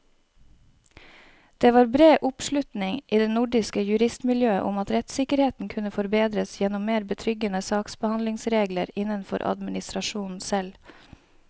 Det var bred oppslutning i det nordiske juristmiljøet om at rettssikkerheten kunne forbedres gjennom mer betryggende saksbehandlingsregler innenfor administrasjonen selv.